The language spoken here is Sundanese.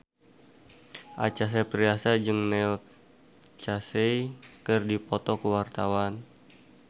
Acha Septriasa jeung Neil Casey keur dipoto ku wartawan